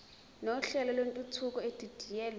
nohlelo lwentuthuko edidiyelwe